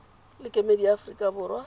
le kemedi ya aforika borwa